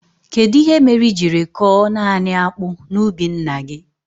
Kedụ ihe mere i jiri koo naanị akpụ na ubi ńnà gị?